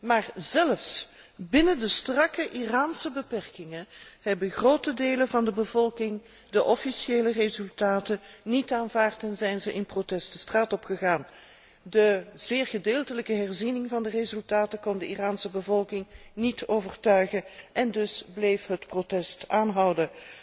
Maar zelfs binnen de strakke Iraanse beperkingen hebben grote delen van de bevolking de officiële resultaten niet aanvaard en zijn ze in protest de straat op gegaan. De zeer gedeeltelijke herziening van de resultaten kon de Iraanse bevolking niet overtuigen en dus bleef het protest aanhouden.